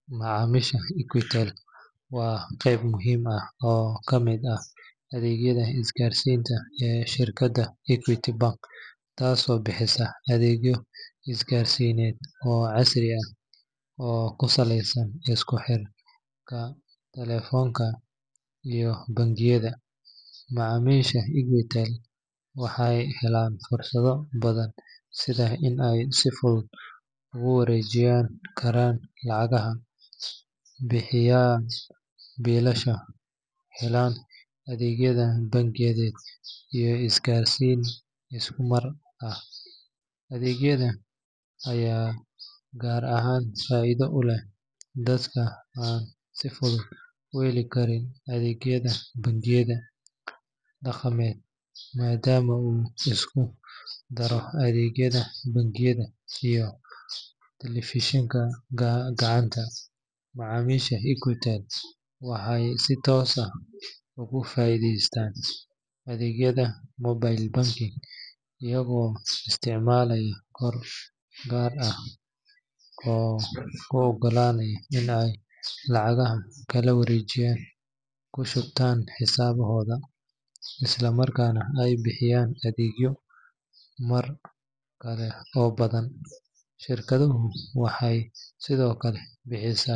Macmiisha Equitel waa qayb muhiim ah oo ka mid ah adeegyada isgaarsiinta ee shirkadda Equity Bank, taasoo bixisa adeegyo isgaarsiineed oo casri ah oo ku saleysan isku xirka taleefanka iyo bangiyada. Macmiisha Equitel waxay helaan fursado badan sida in ay si fudud ugu wareejin karaan lacagaha, bixiyaan biilasha, helaan adeegyo bangiyeed iyo isgaarsiin isku mar ah. Adeeggan ayaa gaar ahaan faa’iido u leh dadka aan si fudud u heli karin adeegyada bangiyada dhaqameed, maadaama uu isku daro adeegyada bangiyada iyo taleefanka gacanta. Macmiisha Equitel waxay si toos ah uga faa’iideystaan adeegyada mobile banking iyagoo isticmaalaya koodh gaar ah oo u oggolaanaya in ay lacagaha kala wareegaan, ku shubtaan xisaabahooda, isla markaana ay bixiyaan adeegyo kale oo badan. Shirkaddu waxay sidoo kale bixisaa.